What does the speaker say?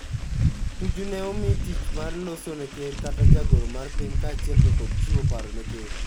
Tuju ne omi tich loso ne ker kata jagoro mar piny kaachiel tokod chiwo paro ne ker.